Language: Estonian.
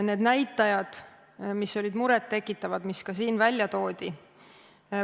Need näitajad olid muret tekitavad, mis siin välja toodi.